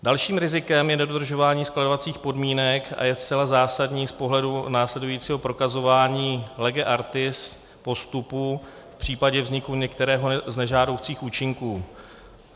Dalším rizikem je nedodržování skladovacích podmínek a je zcela zásadní z pohledu následujícího prokazování lege artis postupu v případě vzniku některého z nežádoucích účinků.